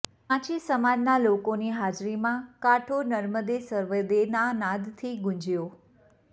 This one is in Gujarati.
માછી સમાજના લોકોની હાજરીમાં કાંઠો નર્મદે સર્વદેના નાદથી ગુંજયો